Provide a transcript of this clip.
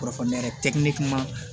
Kɔrɔf ne yɛrɛ tɛ ne kuma